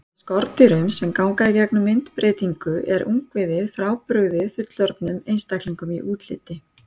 Hjá skordýrum sem ganga í gegnum myndbreytingu er ungviðið frábrugðið fullorðnum einstaklingum í útliti.